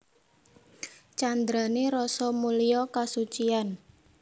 Candrané Rasa mulya kasuciyan